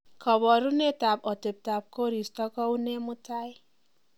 koborunet ab otebtab koristo kounee mutai